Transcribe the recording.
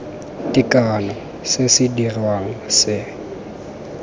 tekano se se dirwang se